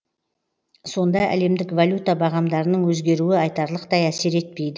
сонда әлемдік валюта бағамдарының өзгеруі айтарлықтай әсер етпейді